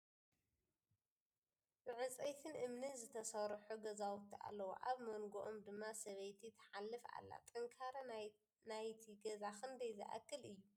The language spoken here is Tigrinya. ብ ዕንጨይትን እምንን ዝትሰርሑ ገዛውቲ ኣለዉ ። ኣብ ምንግኦም ድማ ስብይቲ ትሓልፍ ኣላ ። ጥንካረ ናይቲ ገዛ ክንደይ ዝአክል እዩ ?